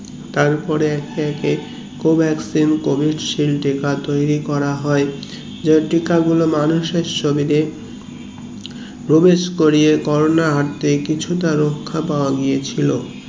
তারপরে একে একে কি covaccine, covid shield টিকা তৈরী করা হয় যে টিকা গুলো মানুষ এর শরীরে প্রবেশ করিয়ে কোরোনার হাত এ কিছুটা রক্ষা পাওয়া গেছিলো